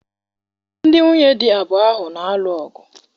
Ndị nwunye di abụọ ahụ na-alụ ọgụ.